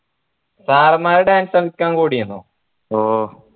sir മാർ dance കളിയ്ക്കാൻ കൂടിരുന്നോ ഓ